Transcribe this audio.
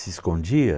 Se escondia?